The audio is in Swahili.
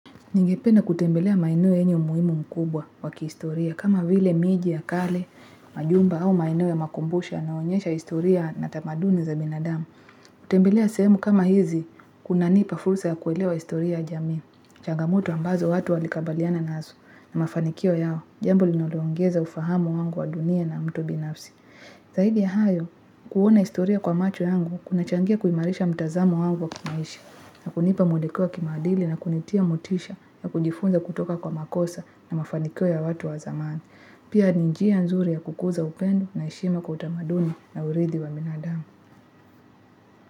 Ningependa kutembelea maeneo yenye umuhimu mkubwa wa kihistoria, kama vile miji ya kale, majumba au maeneo ya makumbusha yanaonyesha historia na tamaduni za binadamu. Kutembelea sehemu kama hizi, kunanipa fursa ya kuelewa historia ya jamii. Changamoto ambazo watu walikabiliana nazo na mafanikio yao, jambo linaloongeza ufahamu wangu wa dunia na mtu binafsi. Zaidi ya hayo, kuona historia kwa macho yangu, kunachangia kuimarisha mtazamo wangu wa kimaisha, na kunipa mweleleo wa kimaadili na kunitia motisha na kujifunza kutoka kwa makosa na mafaniko ya watu wa zamani. Pia ni njia nzuri ya kukuza upendo na heshima kwa utamaduni na urithi wa binadamu.